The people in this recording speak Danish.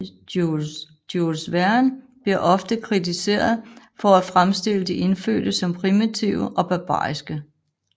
Jules Verne bliver ofte kritiseret for at fremstille de indfødte som primitive og barbariske